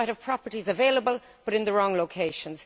We might have properties available but in the wrong locations.